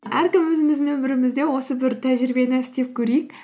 әркім өзіміздің өмірімізде осы бір тәжірибені істеп көрейік